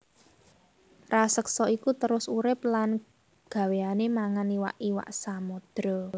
Raseksa iku terus urip lan gawéyané mangan iwak iwak samodra